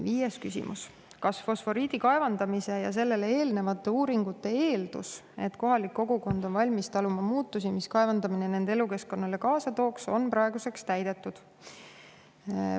Viies küsimus: "Kas fosforiidi kaevandamise ja sellele eelnevate uuringute eeldus, et kohalik kogukond on valmis taluma muutusi, mis kaevandamine nende elukeskkonnale kaasa tooks, on praeguseks täidetud?